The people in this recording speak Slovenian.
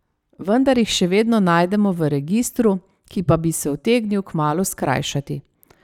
Vendar jih še vedno najdemo v registru, ki pa bi se utegnil kmalu skrajšati.